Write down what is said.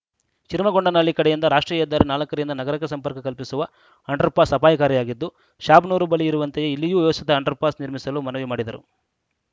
ಶಿರಮಗೊಂಡನಹಳ್ಳಿ ಕಡೆಯಿಂದ ರಾಷ್ಟ್ರೀಯ ಹೆದ್ದಾರಿ ನಾಲ್ಕ ರಿಂದ ನಗರಕ್ಕೆ ಸಂಪರ್ಕ ಕಲ್ಪಿಸುವ ಅಂಡರ್‌ ಪಾಸ್‌ ಅಪಾಯಕಾರಿಯಾಗಿದ್ದು ಶಾಬನೂರು ಬಳಿ ಇರುವಂತೆಯೇ ಇಲ್ಲಿಯೂ ವ್ಯವಸ್ಥಿತ ಅಂಡರ್‌ ಪಾಸ್‌ ನಿರ್ಮಿಸಲು ಮನವಿ ಮಾಡಿದರು